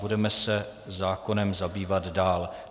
Budeme se zákonem zabývat dále.